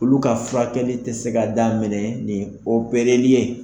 Olu ka furakɛli tɛ se ka daminɛ ni opɛreli ye.